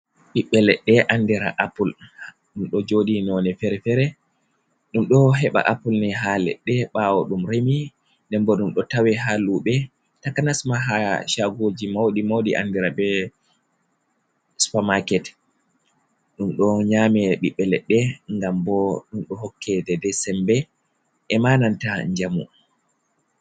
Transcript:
Ɓiɓɓe leɗɗe anndira apul, ɗum ɗo jooɗi noone fere-fere. Ɗum ɗo heɓa apul ni haa leɗɗe ɓaawo ɗum remi, nden bo ɗum ɗo tawe haa luuɓe, takanasma haa caagoji mawɗi mawɗi, anndira be supamaket. Ɗum ɗo nyaame ɓiɓɓe leɗɗe, ngam bo ɗum ɗo hokke dedey sembe e ma nanta njamu.